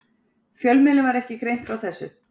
Fjölmiðlum var ekki greint frá þessu